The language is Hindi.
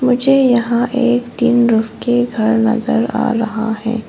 मुझे यहां एक टिन रऊफ घर नजर आ रहा है।